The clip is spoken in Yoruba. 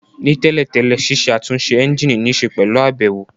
Ní tẹ́lẹ̀ tẹ́lẹ̀, ṣiṣẹ́ àtúnṣe ẹ́ńjìnì níṣe pẹ̀lú àbẹ̀wò